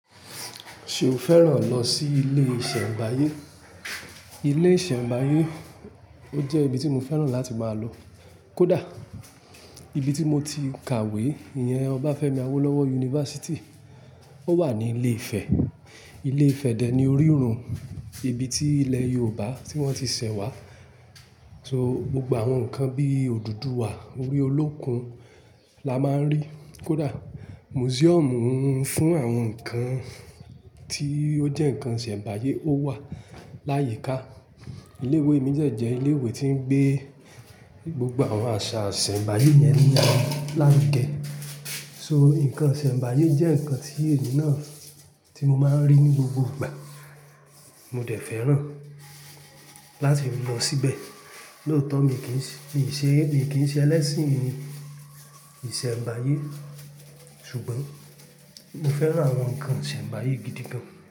Ṣe o fẹ́ràn lọ sí ilé ìṣẹ̀mbáyé? Ilé ìṣẹ̀mbáyé, o jẹ́ ibi tí mo fẹ́ràn láti máa lọ. Kódà, ibi tí mo ti kàwé, ìyẹn Ọbáfẹ́mi Awólówọ́ University. Ó wà ní ìle Ifẹ̀. Ilé Ifẹ̀ dè ní orírun, ibi tí ilẹ̀ Yorùbá tí wọ́n ti ṣẹ̀ wá. So, gbogbo àwọn nǹkan bí òdùduwà, orí olókùn la máa ń rí. Kódà, museum fún àwọn nǹkan tí ó jẹ́ nǹkan ìṣẹ̀mbáyé ó wà láyìíká. Ilé ìwé mi jẹ jẹ́ ilé ìwé tí ń gbé gbogbo àwọn àṣà ìṣẹ̀mbáyé yẹn nì láwugẹ́. So, nǹkan ìṣẹ̀mbáyé jẹ́ nǹkan tí èmi náà tí mo máa ń rí ní gbogbo ìgbà. Mo dẹ̀ fẹ́ràn láti lọ síbẹ̀. Lóòótọ́ mi kì í ṣe, mi kì í ṣe ẹlẹ́sìn ìṣẹ̀mbáyé ṣùgbọ́n mo fẹ́ràn àwọn nǹkan ìṣẹ̀mbáyé gidi gan.